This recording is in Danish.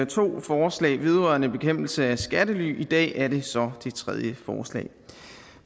to forslag vedrørende bekæmpelse af skattely og i dag er det så det tredje forslag